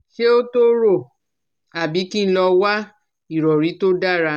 Ṣé ó tó rò àbí kí n lọ wá ìrọ̀rí tó dára